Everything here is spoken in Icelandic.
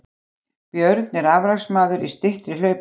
Björn er afreksmaður í styttri hlaupum